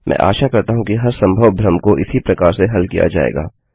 मैं आशा करता हूँ कि हर संभव भ्रम को इसी प्रकार से हल किया जाएगा